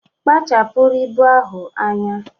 Kpachapụrụ ibu ahụ anya!